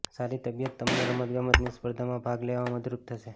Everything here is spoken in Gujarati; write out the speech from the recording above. સારી તબિયત તમને રમતગમતની સ્પર્ધામાં ભાગ લેવામાં મદદરૂપ થશે